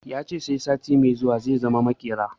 Ya ce sai sati mai zuwa zai zama maƙera